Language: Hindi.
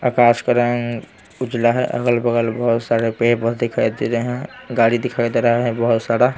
आकाश का रंग उजला है अगल-बगल बहुत सारे पे दिखाई दे रहे हैं गाड़ी दिखाई दे रहा है बहुत सारा .